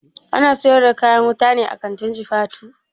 Ana siyar da kayan wuta ne a kantin jifatu?